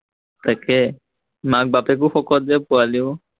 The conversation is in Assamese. তাকে, মাক-বাপেকো শকত যে, পোৱালীও